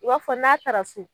I b'a fɔ n'a taara so